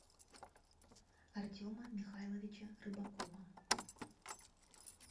артема михайловича рыбакова